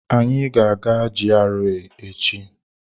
Anyị ga-aga GRA echi.